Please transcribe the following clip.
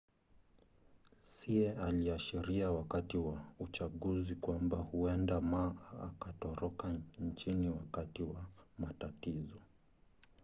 hsieh aliashiria wakati wa uchaguzi kwamba huenda ma akatoroka nchini wakati wa matatizo